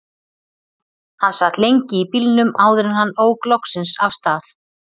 Hann sat lengi í bílnum áður en hann ók loksins af stað.